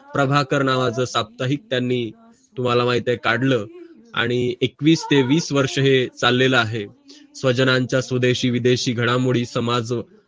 प्रभाकर नावाचं साप्ताहिक त्यांनी तुम्हाला माहित आहे काढलं आणि एकवीस ते वीस वर्ष हे चाललेलं आहे सजनांचा सुदेशी विदेशी घाडामुळी समाज